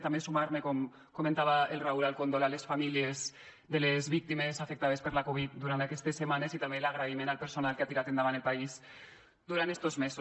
també sumar me com comentava el raúl al condol a les famílies de les víctimes afectades per la covid durant aquestes setmanes i també l’agraïment al personal que ha tirat endavant el país durant estos mesos